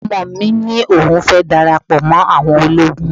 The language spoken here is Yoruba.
Ọmọ mi ní òun fẹ́ dara pọ̀ mọ́ àwọn ológun